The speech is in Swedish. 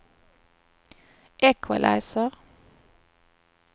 equalizer